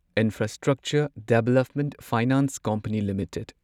infrastructure development finance company limited